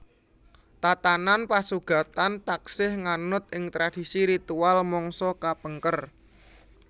Tatanan pasugatan taksih nganut ing tradisi ritual mangsa kapengker